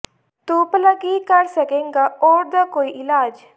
ਤੂੰ ਭਲਾ ਕੀ ਕਰ ਸਕੇਂਗਾ ਔੜ ਦਾ ਕੋਈ ਇਲਾਜ